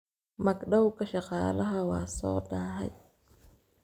Magdhawga shaqaalaha waa soo daahay